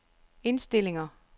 indstillinger